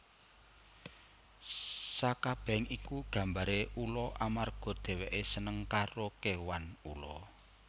Sakabehing iku gambare ula amarga dheweke seneng karo kewan ula